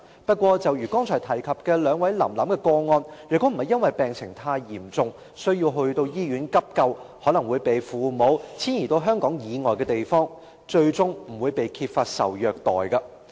不過，正如剛才提及"林林"及"臨臨"的個案，受虐的兒童若不是因為病情太嚴重，需要送到醫院急救，便可能會被父母遷移至香港以外的地方，最終不會揭發受虐待。